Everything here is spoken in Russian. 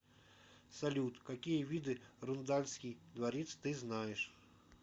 салют какие виды рундальский дворец ты знаешь